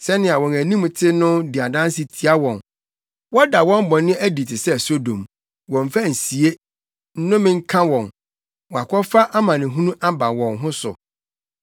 Sɛnea wɔn anim te no di adanse tia wɔn; wɔda wɔn bɔne adi te sɛ Sodom; wɔmmfa nsie. Nnome nka wɔn! Wɔakɔfa amanehunu aba wɔn ho so.